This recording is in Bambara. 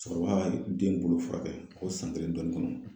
Cɛkɔrɔba ka den ninnu furakɛ o san kelen ni dɔɔnin kɔnɔ.